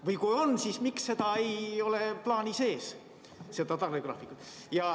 Või kui on, siis miks seda tarnegraafikut ei ole plaani sees?